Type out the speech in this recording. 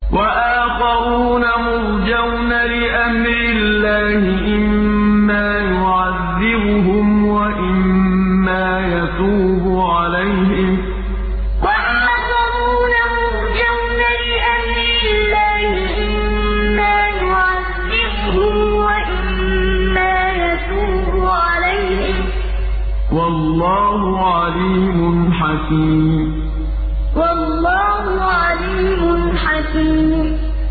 وَآخَرُونَ مُرْجَوْنَ لِأَمْرِ اللَّهِ إِمَّا يُعَذِّبُهُمْ وَإِمَّا يَتُوبُ عَلَيْهِمْ ۗ وَاللَّهُ عَلِيمٌ حَكِيمٌ وَآخَرُونَ مُرْجَوْنَ لِأَمْرِ اللَّهِ إِمَّا يُعَذِّبُهُمْ وَإِمَّا يَتُوبُ عَلَيْهِمْ ۗ وَاللَّهُ عَلِيمٌ حَكِيمٌ